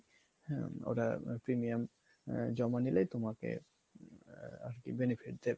হম ওরা premium জমা নিলেই তোমাকে আরকি benefit দেবে